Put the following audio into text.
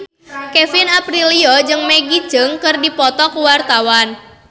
Kevin Aprilio jeung Maggie Cheung keur dipoto ku wartawan